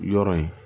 Yɔrɔ in